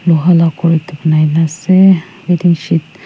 ghor ekta banai gina ase waiting sheed .